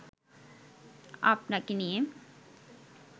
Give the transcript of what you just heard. আপনাকে নিয়ে